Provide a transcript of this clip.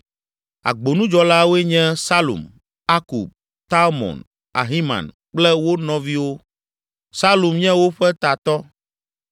Agbonudzɔlawoe nye: Salum, Akub, Talmon, Ahiman kple wo nɔviwo. Salum nye woƒe tatɔ.